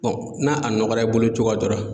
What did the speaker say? n'a a nɔgɔra i bolo cogoya dɔ la.